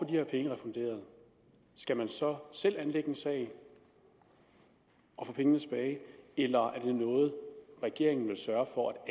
her pengene refunderet skal man så selv anlægge en sag og få pengene tilbage eller er det noget regeringen vil sørge for